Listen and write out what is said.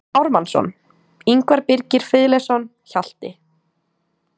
Ármannsson, Ingvar Birgir Friðleifsson, Hjalti